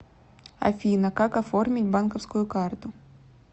афина как оформить банковскую карту